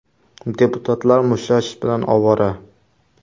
Deputatlar mushtlashish bilan ovora.